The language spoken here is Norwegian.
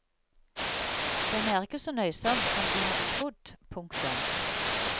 Den er ikke så nøysom som de hadde trodd. punktum